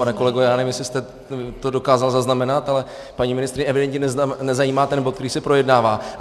Pane kolego, já nevím, jestli jste to dokázal zaznamenat, ale paní ministryni evidentně nezajímá ten bod, který se projednává.